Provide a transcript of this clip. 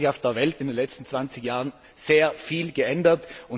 Es hat sich auf der Welt in den letzten 20 Jahren sehr viel geändert.